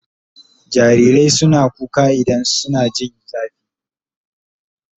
Jarirai suna kuka idan suna jin zafi